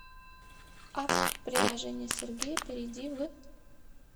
апп приложение сергея перейди в